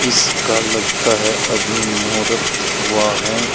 इसका लगता है अभी मुहूर्त हुआ है।